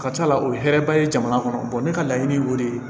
Ka ca ala fɛ hɛrɛba ye jamana kɔnɔ ne ka laɲini y'o de ye